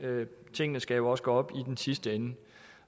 tingene skal jo også gå op i den sidste ende